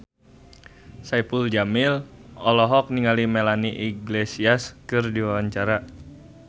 Saipul Jamil olohok ningali Melanie Iglesias keur diwawancara